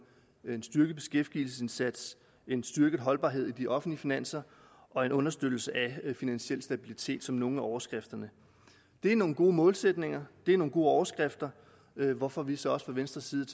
en styrket beskæftigelsesindsats en styrket holdbarhed i de offentlige finanser og en understøttelse af finansiel stabilitet som nogle af overskrifterne det er nogle gode målsætninger det er nogle gode overskrifter hvorfor vi så også fra venstres side